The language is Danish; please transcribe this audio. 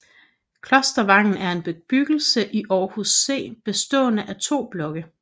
Klostervangen er en bebyggelse i Aarhus C bestående af to blokke